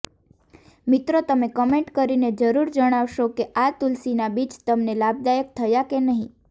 મિત્રો તમે કમેન્ટ કરીને જરૂર જણાવશો કે આ તુલસીના બીજ તમને લાભદાયક થયા કે નહી